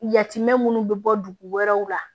Yatimɛ minnu bɛ bɔ dugu wɛrɛw la